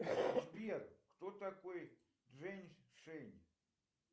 сбер кто такой жень шень